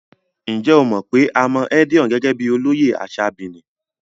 Ǹjẹ́ o mọ̀ pé a mọ Edion gẹ́gẹ́ bíi olóyè ní àṣà Benin?